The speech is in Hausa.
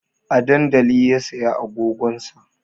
A dandali ya saya agogon sa